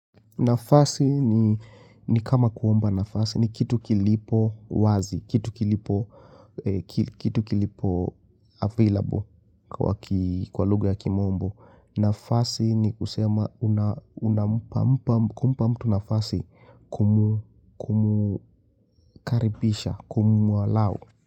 Nafasi ni kama kuomba nafasi ni kitu kilipo wazi, kitu kilipo available kwa lugha ya kimombo. Nafasi ni kusema unampa mtu nafasi kumkaribisha, kumu allow.